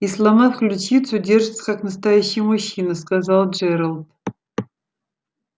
и сломав ключицу держится как настоящий мужчина сказал джералд